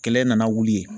Kɛlɛ in nana wuli